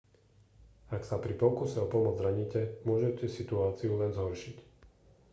ak sa pri pokuse o pomoc zraníte môžete situáciu len zhoršiť